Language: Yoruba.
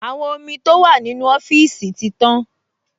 Àwọn omi tó wà nínú ọ́fíìsì ti tán